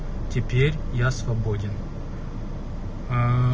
теперь я свободен